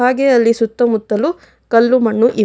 ಹಾಗೆ ಅಲ್ಲಿ ಸುತ್ತಮುತ್ತಲು ಕಲ್ಲು ಮಣ್ಣು ಇವೆ.